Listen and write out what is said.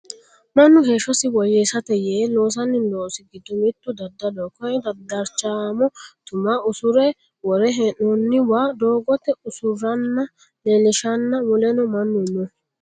Mannu heeshshosi woyyeessate yee loosanno loosi giddo mittu daddaloho koyeno darchaamo tum usurre worre hee'noonniwa doogote usurranna leellishshanna muleno mannu no